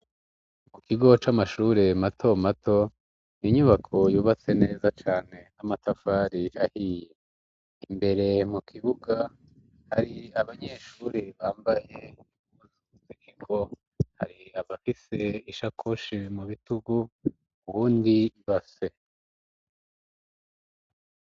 Ku kigo c'amashure mato mato inyubako yubatse neza cane n'amatafari ahiye. Imbere mu kibuga hari abanyeshure bambaye ubusikeko hari abafise ishakoshi mu bitugu uwundi ibase.